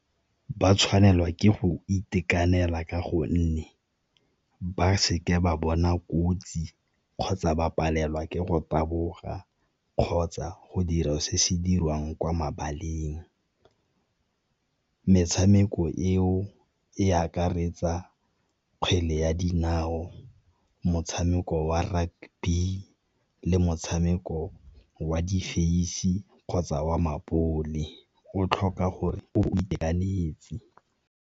Ba tshwanelwa ke go itekanela ka gonne ba seke ba bona kotsi kgotsa ba palelwa ke go taboga kgotsa go dira o se se dirwang kwa mabaleng. Metshameko eo e akaretsa kgwele ya dinao, motshameko wa rugby, le motshameko wa difeisi kgotsa wa mabole o tlhoka gore o bo o itekanetse.